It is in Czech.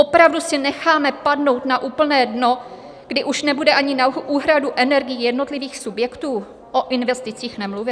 Opravdu si necháme padnout na úplné dno, kdy už nebude ani na úhradu energií jednotlivých subjektů, o investicích nemluvě?